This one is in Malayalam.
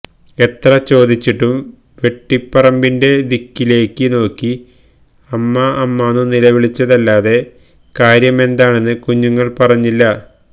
എത്ര ചോദിച്ചിട്ടും വെട്ടിപ്പറമ്പിന്റെ ദിക്കിലേക്കു നോക്കി അമ്മാ അമ്മാന്നു നിലവിളിച്ചതല്ലാതെ കാര്യമെന്താണെന്ന് കുഞ്ഞുങ്ങള് പറഞ്ഞില്ല